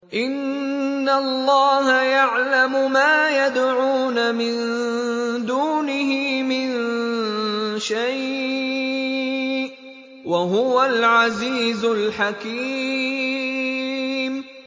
إِنَّ اللَّهَ يَعْلَمُ مَا يَدْعُونَ مِن دُونِهِ مِن شَيْءٍ ۚ وَهُوَ الْعَزِيزُ الْحَكِيمُ